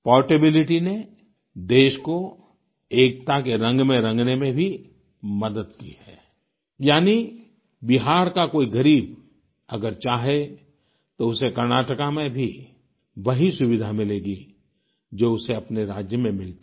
portability ने देश को एकता के रंग में रंगने में भी मदद की है यानी बिहार का कोई गरीब अगर चाहे तो उसे कर्नाटका में भी वही सुविधा मिलेगी जो उसे अपने राज्य में मिलती